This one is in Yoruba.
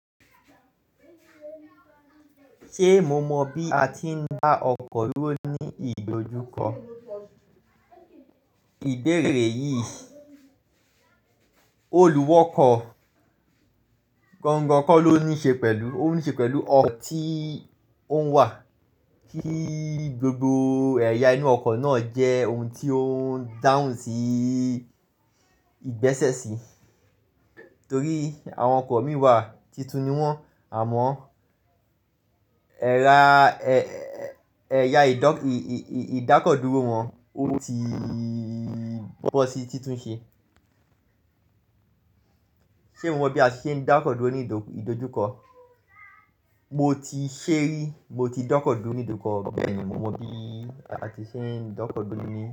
Ṣé mo mọ bí a ti ń dá ọkọ dúró ní ìdojúkọ? Ìbéèrè yìí, olùwọ́kọ̀ gangan kọ́ ló ní ṣe pẹ̀lú, ó ní ṣe pẹ̀lú ọ̀un tí òun wà kí gbogbo ẹ̀yà inú ọkọ̀ náà jẹ́ ohun tí ó ń dáhùn sí ìgbẹ́sẹ̀ sí. Torí àwọn ọkọ̀ mì wà, titun ni wọ́n, àmọ́ ẹra, ẹ̀yà ìdákọ̀dúró wọn, ó tí bọ́ sí, titun ṣe. Ṣé mo mọ bí a ṣe ń dá ọkọ dúró ní ìdojúkọ? Mo ti ṣé rí, mo ti dọ́kọ̀dúró ní ìdojúkọ bẹ́ẹ̀ ni mo mọ bí a ti ṣe ń dọ́kọ̀dúró ní.